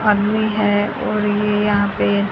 आदमी है और ये यहा पे--